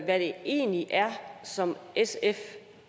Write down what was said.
hvad det egentlig er som sf